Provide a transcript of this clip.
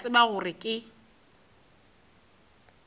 ke a tseba gore ke